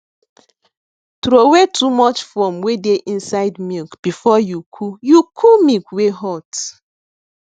throway too much foam wey dey inside milk before you cool you cool milk wey hot